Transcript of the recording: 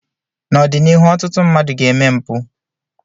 n'ọdịnihu ọtụtụ mmadụ ga-eme mpụ